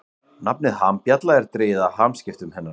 Nafnið hambjalla er dregið af hamskiptum hennar.